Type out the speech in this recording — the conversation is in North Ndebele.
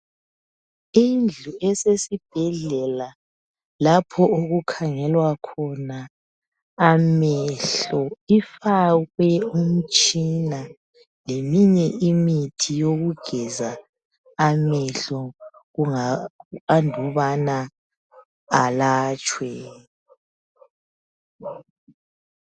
Indlu esesibhedlela lapho okukhangelwa khona amehlo ifakwe umtshina leminye imithi yokugeza amehlo andubana alatshwe.